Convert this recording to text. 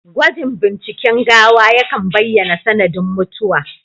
Gwajin binciken gawa yakan baiyana sanadin mutuwa